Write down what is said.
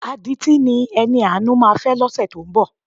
Adití ni Ẹniàánú máa fẹ́ lọ́sẹ̀ tó ń bọ̀.